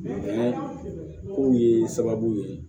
kow ye sababu ye